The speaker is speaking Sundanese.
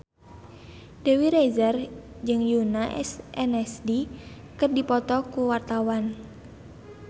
Dewi Rezer jeung Yoona SNSD keur dipoto ku wartawan